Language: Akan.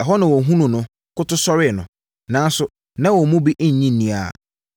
Ɛhɔ na wɔhunuu no, koto sɔree no. Nanso, na wɔn mu bi nnye nni ara.